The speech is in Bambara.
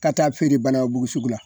Ka taa fere banankabugu sugu la